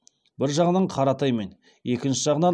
бір жағынан қаратаймен екінші жағынан